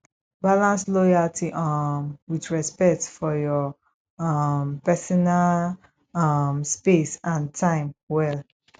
balance loyalty um with respect for your um personal um space and time well